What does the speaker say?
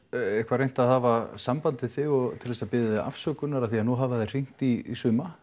eitthvað reynt að hafa samband við þig til þess að biðja þig afsökunar nú hafa þeir hringt í suma